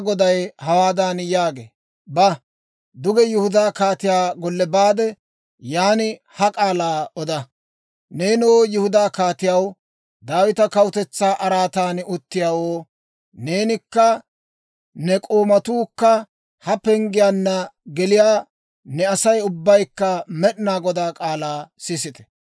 ‹Neenoo Yihudaa kaatiyaw, Daawita kawutetsaa araatan uttiyaawoo, neenikka ne k'oomatuukka ha penggiyaanna geliyaa ne Asay ubbaykka Med'inaa Godaa k'aalaa sisite!